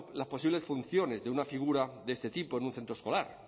las posibles funciones de una figura de este tipo en un centro escolar